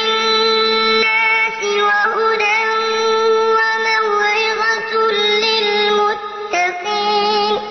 لِّلنَّاسِ وَهُدًى وَمَوْعِظَةٌ لِّلْمُتَّقِينَ